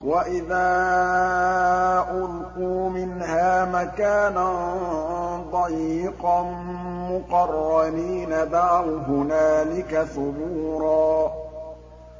وَإِذَا أُلْقُوا مِنْهَا مَكَانًا ضَيِّقًا مُّقَرَّنِينَ دَعَوْا هُنَالِكَ ثُبُورًا